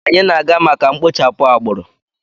Anyị na-aga maka mkpochapụ agbụrụ.